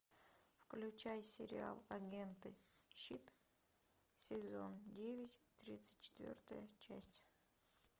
включай сериал агенты щит сезон девять тридцать четвертая часть